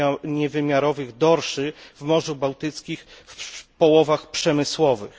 niewymiarowych dorszy w Morzu Bałtyckim w połowach przemysłowych.